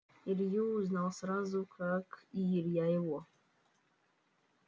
илью узнал сразу как и илья его